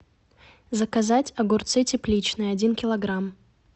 заказать огурцы тепличные один килограмм